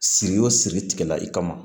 Siri o siri tigɛ i kama